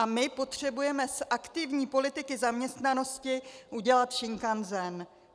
A my potřebujeme z aktivní politiky zaměstnanosti udělat šinkanzen.